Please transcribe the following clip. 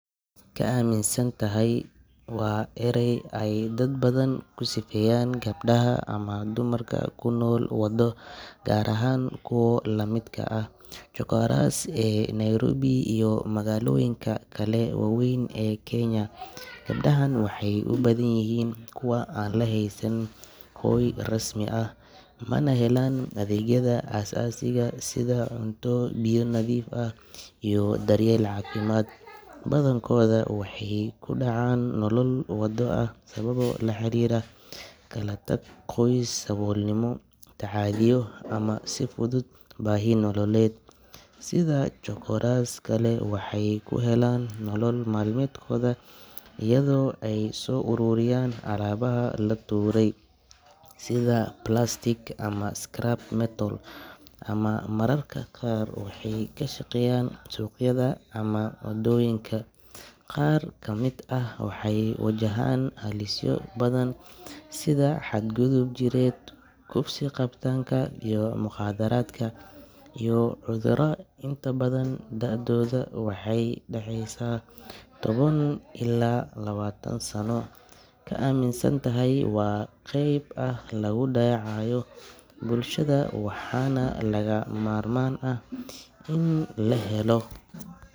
Kaminsanthy waa eray ay dad badan ku sifeeyaan gabdhaha ama dumarka ku nool nolol waddo, gaar ahaan kuwa la mid ah chokoras ee Nairobi iyo magaalooyinka kale waaweyn ee Kenya. Gabdhahan waxay u badan yihiin kuwo aan haysan hoy rasmi ah, mana helaan adeegyada aasaasiga ah sida cunto, biyo nadiif ah, iyo daryeel caafimaad. Badankooda waxay ku dhacaan nolol waddo ah sababo la xiriira kala tag qoys, saboolnimo, tacaddiyo ama si fudud baahi nololeed. Sida chokoras kale, waxay ka helaan nolol maalmeedkooda iyadoo ay soo ururiyaan alaabaha la tuuray sida plastic ama scrap metal, ama mararka qaar waxay ku shaqeeyaan suuqyada ama wadooyinka. Qaar ka mid ah waxay wajahaan halisyo badan sida xadgudub jireed, kufsi, qabatinka mukhaadaraadka, iyo cudurro. Inta badan da’dooda waxay u dhaxaysaa toban ilaa labaatan sano. Kaminsanthy waa qeyb muhiim ah oo lagu dayaco bulshada, waxaana lagama maarmaan ah in loo helo.